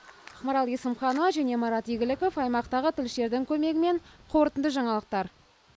ақмарал есімханова және марат игіліков аймақтағы тілшілердің көмегімен қорытынды жаңалықтар